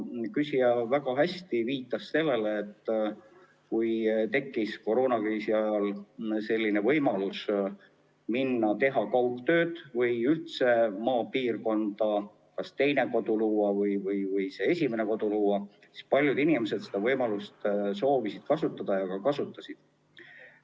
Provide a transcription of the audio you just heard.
Küsija viitas väga hästi sellele, et kui koroonakriisi ajal tekkis võimalus minna maale ja teha kaugtööd seal või üldse maapiirkonda kas oma teine kodu luua või päris kodu luua, siis paljud inimesed soovisid seda võimalust kasutada ja kasutasidki.